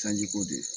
Sanji ko de